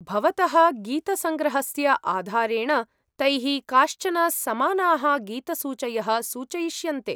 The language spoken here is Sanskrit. भवतः गीतसङ्ग्रहस्य आधारेण तैः काश्चन समानाः गीतसूचयः सूचयिष्यन्ते।